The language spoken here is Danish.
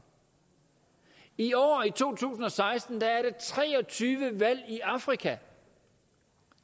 i år i to tusind og seksten er tre og tyve valg i afrika